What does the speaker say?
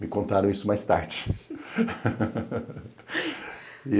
Me contaram isso mais tarde.